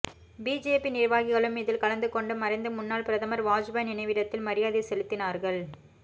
BJP நிர்வாகிகளும் இதில் கலந்து கொண்டு மறைந்த முன்னாள் பிரதமர் வாஜ்பாய் நினைவிடத்தில் மரியாதை செலுத்தினார்கள்